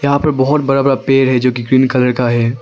यहां पर बहुत बड़ा बड़ा पेड़ है जो कि ग्रीन कलर का है।